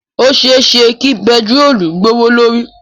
Ó ṣe é ṣe kí bẹntiróólù gbówó lórí.